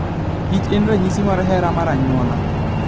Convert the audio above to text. kich en ranyisi mar hera mar anyuola.